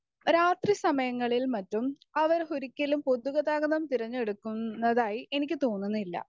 Speaker 1 രാത്രി സമയങ്ങളിലും മറ്റും അവർ ഒരിക്കലും പൊതുഗതാഗതം തിരഞ്ഞെടുക്കുന്നതായി എനിക്ക് തോന്നുന്നില്ല.